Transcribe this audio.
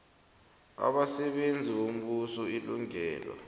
abasebenzi bombuso ilungelo